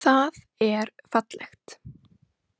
Það er fallegt.